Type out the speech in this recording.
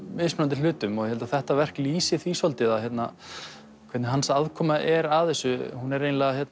mismunandi hlutum ég held að þetta verk lýsi því svolítið hvernig hans aðkoma er að þessu hún er